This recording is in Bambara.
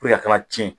a kana cɛn